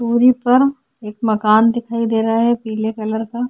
दुरी पर एक मकान दिखाई दे रहा है पीले कलर का।